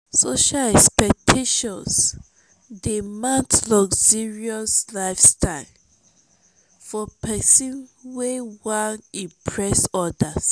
social expectations dey mount luxurious lifestyle for pesin wey wan impress other.